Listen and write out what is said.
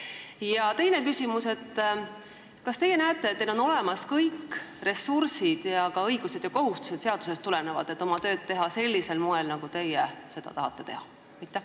Ja teine küsimus: kas teil on seadusest tulenevalt olemas kõik ressursid ja ka õigused ja kohustused, et oma tööd teha sellisel moel, nagu teie seda tahate teha?